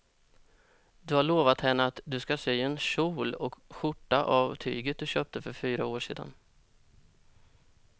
Du har lovat henne att du ska sy en kjol och skjorta av tyget du köpte för fyra år sedan.